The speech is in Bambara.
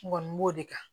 N kɔni b'o de kan